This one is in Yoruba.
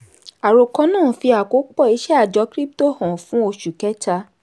àròkọ náà fi àkópọ̀ iṣẹ́ àjọ krípútò hàn fún oṣù kẹta.